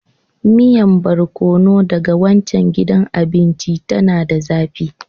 Miyan Barkono daga waccan gidan abinci, tana da zafi.